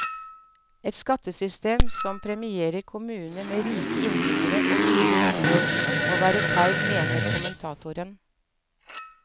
Et skattesystem som premierer kommuner med rike innbyggere og dyre boliger, må være feil, mener kommentatoren.